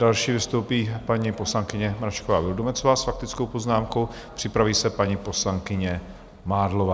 Další vystoupí paní poslankyně Mračková Vildumetzová s faktickou poznámkou, připraví se paní poslankyně Mádlová.